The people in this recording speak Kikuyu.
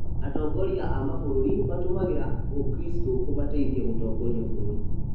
Atongoria a mabũrũri matũmĩraga ũkristo kũmateithia gũtongoria bũrũri